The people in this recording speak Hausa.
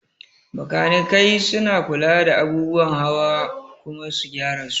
Makanikai suna kula da abubuwan hawa kuma su gyara su